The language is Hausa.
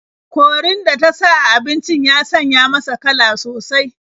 Korin da ta sa a abincin ya sanya masa kala sosai.